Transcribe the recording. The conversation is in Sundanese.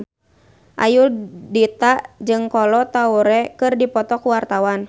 Ayudhita jeung Kolo Taure keur dipoto ku wartawan